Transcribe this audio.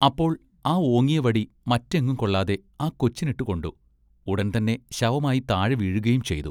അപ്പോൾ ആ ഓങ്ങിയവടി മറ്റെങ്ങും കൊള്ളാതെ ആ കൊച്ചിനിട്ട് കൊണ്ടു ഉടൻ തന്നെ ശവമായി താഴെ വീഴുകയും ചെയ്തു.